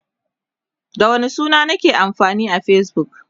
da sunana nake amfani a Facebook